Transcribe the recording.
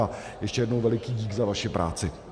A ještě jednou veliký dík za vaši práci.